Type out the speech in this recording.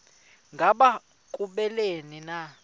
ngaba kubleni na